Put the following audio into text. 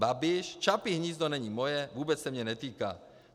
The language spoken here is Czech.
Babiš: Čapí hnízdo není moje, vůbec se mě netýká.